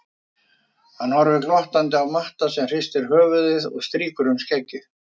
Hann horfir glottandi á Matta sem hristir höfuðið og strýkur um skeggið.